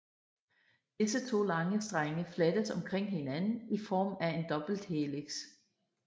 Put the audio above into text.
Disse to lange strenge flettes omkring hinanden i form af en dobbelthelix